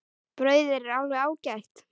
Brauðið er alveg ágætt.